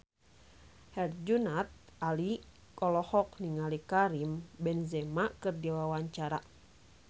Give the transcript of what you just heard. Herjunot Ali olohok ningali Karim Benzema keur diwawancara